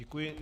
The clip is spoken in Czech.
Děkuji.